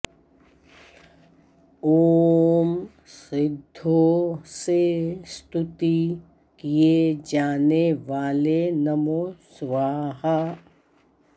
ॐ सिद्धो से स्तुति किये जाने वाले नमो स्वाहा